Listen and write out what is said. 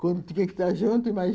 Quando tiver que estar junto, imagina.